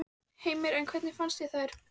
Heimir: En hvernig fannst þér þær?